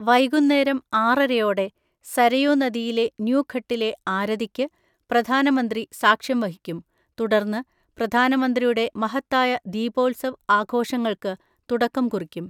വൈകുന്നേരം ആറരയോടെ, സരയൂ നദിയിലെ ന്യൂഘട്ടിലെ ആരതിക്ക് പ്രധാനമന്ത്രി സാക്ഷ്യം വഹിക്കും, തുടർന്ന് പ്രധാനമന്ത്രിയുടെ മഹത്തായ ദീപോത്സവ് ആഘോഷങ്ങളുൾക്ക് തുടക്കം കുറിക്കും.